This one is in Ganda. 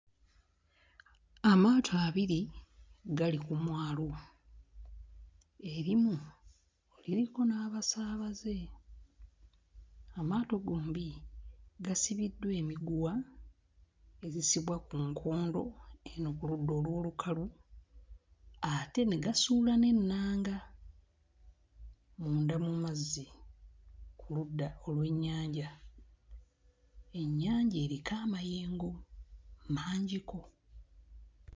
Amaato abiri gali ku mwalo, erimu liriko n'abasaabaze. Amaato gombi gasibiddwa emiguwa egisibwa ku nkondo eno ku ludda olw'olukalu ate ne gasuula n'ennanga munda mu mazzi ku ludda olw'ennyanja. Ennyanja eriko amayengo mangiko.